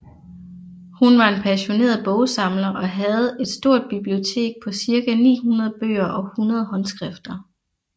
Hun var en passioneret bogsamler og havde her et stort bibliotek på cirka 900 bøger og 100 håndskrifter